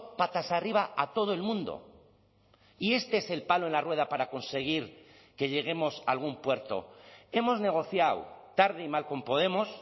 patas arriba a todo el mundo y este es el palo en la rueda para conseguir que lleguemos a algún puerto hemos negociado tarde y mal con podemos